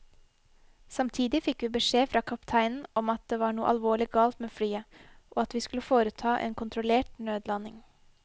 Samtidig fikk vi beskjed fra kapteinen om at det var noe alvorlig galt med flyet, og at vi skulle foreta en kontrollert nødlanding.